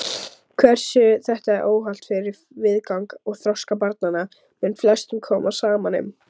Hversu þetta er óhollt fyrir viðgang og þroska barnanna mun flestum koma saman um.